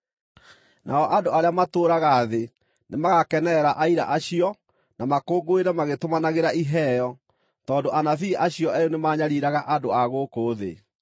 Nao andũ arĩa matũũraga thĩ nĩmagakenerera aira acio, na makũngũĩre magĩtũmanagĩra iheo, tondũ anabii acio eerĩ nĩmanyariiraga andũ a gũkũ thĩ.